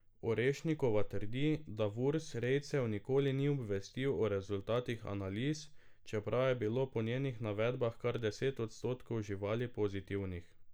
Orešnikova trdi, da Vurs rejcev nikoli ni obvestil o rezultatih analiz, čeprav je bilo po njenih navedbah kar deset odstotkov živali pozitivnih.